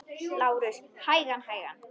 LÁRUS: Hægan, hægan!